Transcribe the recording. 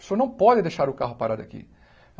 O senhor não pode deixar o carro parado aqui.